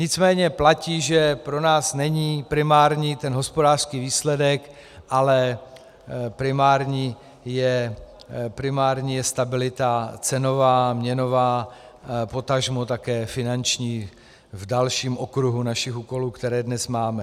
Nicméně platí, že pro nás není primární ten hospodářský výsledek, ale primární je stabilita cenová, měnová, potažmo také finanční v dalším okruhu našich úkolů, které dnes máme.